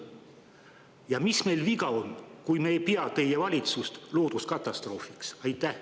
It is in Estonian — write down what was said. Ja mis meil viga on, kui me ei pea teie valitsust looduskatastroofiks?